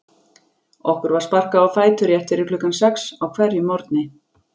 Okkur var sparkað á fætur rétt fyrir klukkan sex á hverjum morgni.